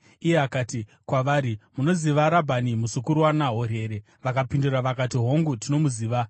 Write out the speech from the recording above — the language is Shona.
Iye akati kwavari, “Munoziva Rabhani, muzukuru waNahori here?” Vakapindura vakati, “Hongu, tinomuziva.”